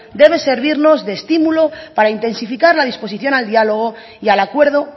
debe servirnos de estímulo para intensificar la disposición al diálogo y al acuerdo